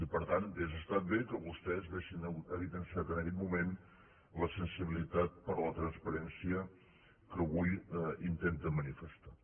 i per tant hauria estat bé que vostès haguessin evidenciat en aquell moment la sensibilitat per la transparència que avui intenten manifestar